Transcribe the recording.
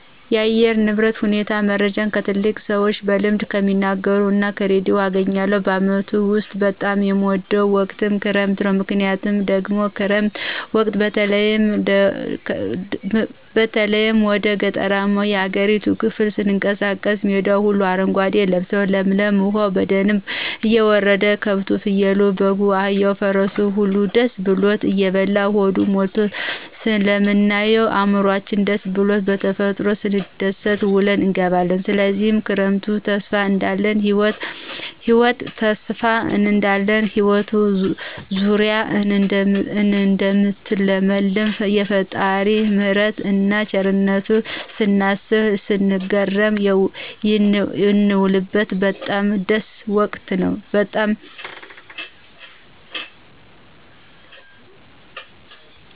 የአየር ንብረት ሁኔታን መረጃ ከትላልቅ ሰዎች በልምድ ከሚናገሩት እና ከርዲዮ አገኛለሁ። በአመቱ ውስጥ በጣም የምወደው ወቅት ክረምት ነው። ምክንያቱ ደግሞ በክረምት ወቅት በተለይ ወደ ገጠራማው የሀገሪቱ ክፍል ስንቀሳቀስ ሜዳው ሁሉ አረጓዴ ልብሶ ለምልሞ፣ ዉሀው በደንብ እየወረደ፣ ከብቱ፣ ፍየሉ፣ በጉ፣ አህያው፣ ፈረሱ ሁላ ደስ ብሎት እየበላ ሆዱ ሞልቶ ስለምናየው እዕምሯችን ደስስ ብሉት በተፈጥሮ ስንደሰት ውለን እንገባለን። ስለዚህ ክረምት ተስፋ እንዳለን ህይወት ዙራ እደምታለመልም፣ የፈጣሪን ምህረትን እና ቸርነቱን ስናስብ ስንገረም የንውልበት በጣም ደስ ወቅት ነው።